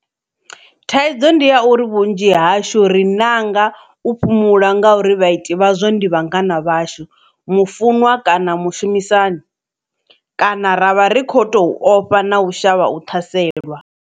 Thaidzo ndi ya uri vhunzhi hashu ri ṋanga u fhumula ngauri vhaiti vhazwo ndi vhangana vhashu, mufunwa kana mushumi sani. Kana ravha ri khou tou ofha na u shavha u ṱhaselwa.